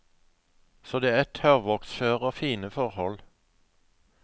Så det er tørrvoksføre og fine forhold.